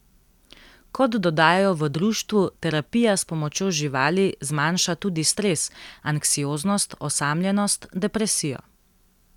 Kot dodajajo v društvu, terapija s pomočjo živali zmanjša tudi stres, anksioznost, osamljenost, depresijo.